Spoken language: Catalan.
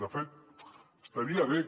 de fet estaria bé